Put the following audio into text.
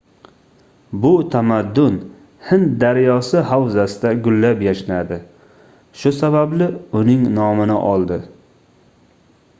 bu tamaddun hind daryosi havzasida gullab-yashnadi shu sababli uning nomini oldi